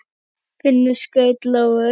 Finnur skaut lóu.